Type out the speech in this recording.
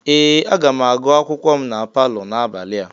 Ee! Aga m agụ akwụkwọ m na palọ n'abalị a.